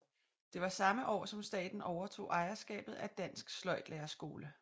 Det var samme år som staten overtog ejerskabet af Dansk Sløjdlærerskole